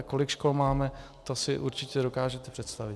A kolik škol máme, to si určitě dokážete představit.